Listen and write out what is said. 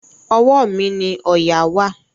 Ọwọ́ mi ni òòyà wà.